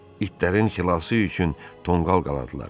İtlərin xilası üçün tonqal qaladılar.